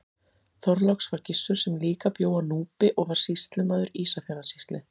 Þorláks var Gissur sem líka bjó á Núpi og var sýslumaður Ísafjarðarsýslu.